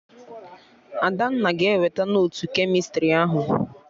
Adanna ga-eweta notu kemịstrị ahụ